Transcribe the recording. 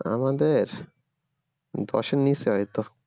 আমাদের দশের নিচে হয়ত।